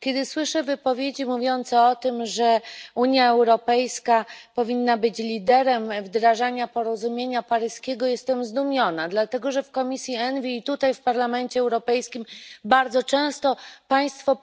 Kiedy słyszę głosy mówiące o tym, że Unia Europejska powinna być liderem wdrażania porozumienia paryskiego, jestem zdumiona, bowiem w komisji ENVI i tutaj w Parlamencie Europejskim bardzo często podnoszą Państwo